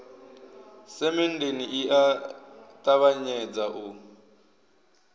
semenndeni i a ṱavhanyedza u